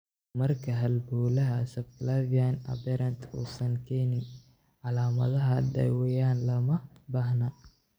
Marka halbowlaha subclavian aberrant uusan keenin calaamado, daaweyn looma baahna.